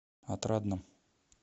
отрадном